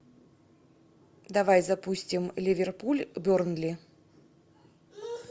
давай запустим ливерпуль бернли